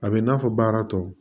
A bɛ i n'a fɔ baara tɔw